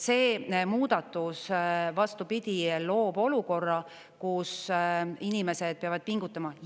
See muudatus, vastupidi, loob olukorra, kus inimesed peavad pingutama.